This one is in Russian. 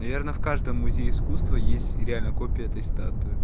наверное в каждом музей искусства есть реально копия этой статуи